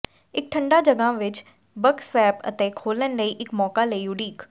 ਇੱਕ ਠੰਡਾ ਜਗ੍ਹਾ ਵਿੱਚ ਬਕ ਸਵੈਪ ਅਤੇ ਖੋਲ੍ਹਣ ਲਈ ਇੱਕ ਮੌਕਾ ਲਈ ਉਡੀਕ